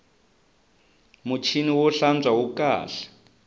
muchini wo hlantswa wu kahle